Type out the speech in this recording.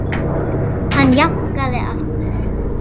Hann jánkaði aftur.